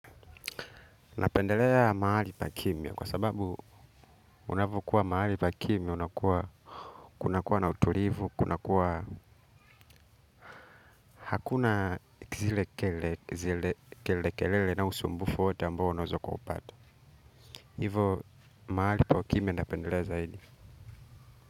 Napendelea mahali pa kimya kwa sababu unavokuwa mahali pa kimya unakuwa kunakuwa na utulivu kunakuwa hakuna zile kelele kelele na usumbufu wote ambao unaeza kuupata. Hivo mahali pa kimya napendelea zaidi.